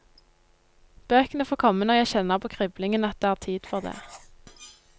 Bøkene får komme når jeg kjenner på kriblingen at det er tid for det.